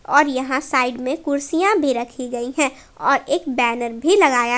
और यहां साइड में कुर्सियां भी रखी गई हैं और एक बैनर भी लगाया--